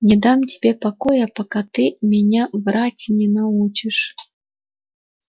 не дам тебе покоя пока ты меня врать не научишь